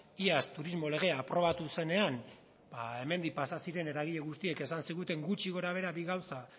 iaz turismo legea aprobatu zenean ba hemendik pasa ziren eragile guztiek esan ziguten gutxi gora behera bi gauza